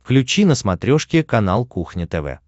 включи на смотрешке канал кухня тв